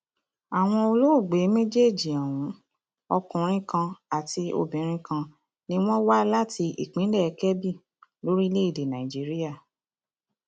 àwọn olóògbé méjèèjì ohun ọkùnrin kan àti obìnrin kan ni wọn wá láti ìpínlẹ kebbi lórílẹèdè nàìjíríà